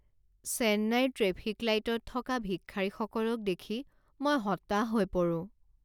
চেন্নাইৰ ট্ৰেফিক লাইটত থকা ভিক্ষাৰীসকলক দেখি মই হতাশ হৈ পৰোঁ।